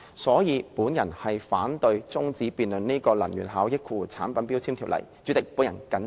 所以，我反對中止根據《能源效益條例》動議的擬議決議案辯論。